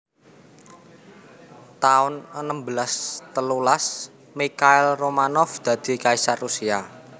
taun enem belas telulas Mikhail Romanov dadi kaisar Rusia